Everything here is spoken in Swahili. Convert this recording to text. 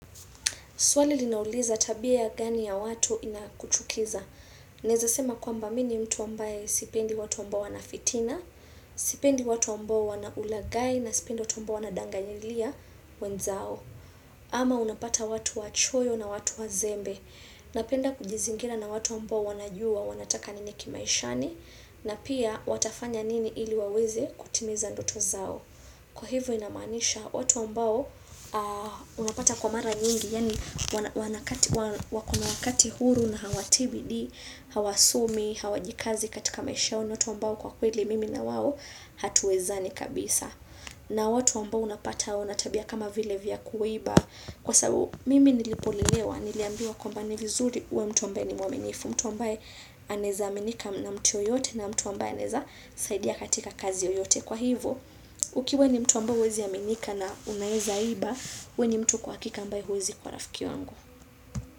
Swali linauliza tabia gani ya watu inakuchukiza. Naeza sema kwamba mi ni mtu ambaye sipendi watu ambao wana fitina, sipendi watu ambao wana ulaghai na sipendi watu ambao wanadanganyilia wenzao. Ama unapata watu wachoyo na watu wazembe. Napenda kujizingira na watu ambao wanajua wanataka nini kimaishani na pia watafanya nini ili waweze kutimiza ndoto zao. Kwa hivyo inamanisha watu ambao unapata kwa mara nyingi, Yaani wako na wakati huru na hawatii bidii, hawasomi, hawajikazi katika maisha yao, ni watu ambao kwa kweli mimi na wao hatuwezani kabisa. Na watu mbao unapata wana tabia kama vile vya kuiba. Kwa sababu mimi nilipolelewa, niliambiwa kwamba ni vizuri uwe mtu ambaye ni mwaminifu. Mtu ambae anaeza aminika na mtu yoyote na mtu ambae anaeza saidia katika kazi yoyote kwa hivo. Ukiwa ni mtu ambaye uwezi aminika na unaeza iba we ni mtu kwa hakika ambaye huwezi kwa rafiki wangu.